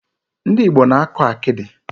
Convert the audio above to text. Ndị Igbo na-akọ akịdị.